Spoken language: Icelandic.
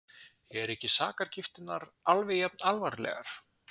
Eru ekki sakargiftirnar alveg jafn alvarlegar?